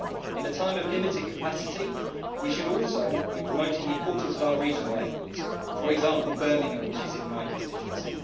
In a time of limited capacity, we should also be promoting the importance of our regional airports, for example Birmingham, which is in my constituency.